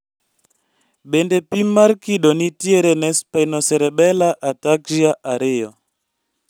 Bende pim mar kido nitiere ne spinocerebellar ataxia 2